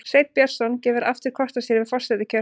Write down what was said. Sveinn Björnsson gefur aftur kost á sér við forsetakjör